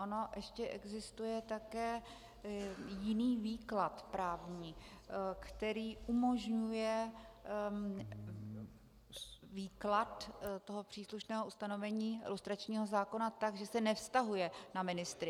On ještě existuje také jiný výklad právní, který umožňuje výklad toho příslušného ustanovení lustračního zákona tak, že se nevztahuje na ministry.